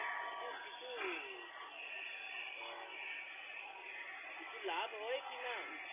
কিছু কিছু আহ কিছু লাভ হয় কি না?